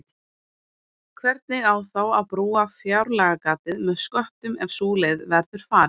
Hvernig á þá að brúa fjárlagagatið með sköttum ef sú leið verður farin?